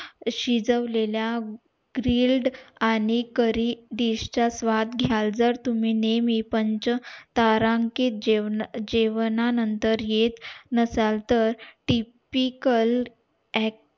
शिजवलेल्या grilled आणि curry dish चा स्वाद घायल तुम्ही नेहमी पंच तारांकित जेवणा जेवणानंतर येत नसाल तर tipical act